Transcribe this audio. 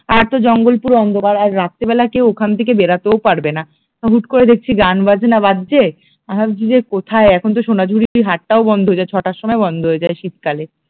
আর তো জঙ্গল পুরো অন্ধকার আর রাত্রিবেলা কেউ ওখান থেকে বেড়াতেও পারবেনা, হুট করে দেখছি গান বাজনা বাজছে আমি ভাবছি যে কোথায় এখন তো সোনাঝুরিতে হাটটাও বন্ধ হয়ে যায় ছটার সময় বন্ধ হয়ে যায় শীতকালে